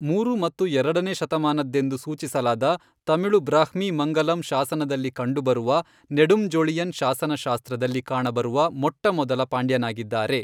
ಮೂರು ಮತ್ತು ಎರಡನೇ ಶತಮಾನದ್ದೆಂದು ಸೂಚಿಸಲಾದ ತಮಿಳು ಬ್ರಾಹ್ಮಿ ಮಂಗಲಂ ಶಾಸನದಲ್ಲಿ ಕಂಡುಬರುವ ನೆಡುಂಜೊಳಿಯನ್ ಶಾಸನಶಾಸ್ತ್ರದಲ್ಲಿ ಕಾಣಬರುವ ಮೊಟ್ಟಮೊದಲ ಪಾಂಡ್ಯನಾಗಿದ್ದಾರೆ.